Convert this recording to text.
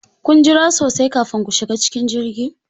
Kun jira sosai kafin ku shiga cikin jirgi?